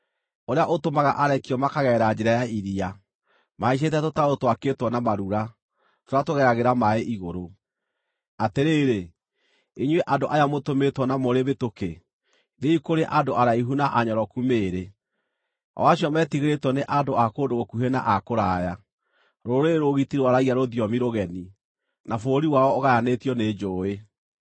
ũrĩa ũtũmaga arekio makagerera njĩra ya iria, mahaicĩte tũtarũ twakĩtwo na marura, tũrĩa tũgeragĩra maaĩ igũrũ. Atĩrĩrĩ, inyuĩ andũ aya mũtũmĩtwo na mũrĩ mĩtũkĩ, thiĩi kũrĩ andũ araihu na anyoroku mĩĩrĩ, o acio metigĩrĩtwo nĩ andũ a kũndũ gũkuhĩ na a kũraya, rũrĩrĩ rũũgiti rwaragia rũthiomi rũgeni, na bũrũri wao ũgayanĩtio nĩ njũũĩ.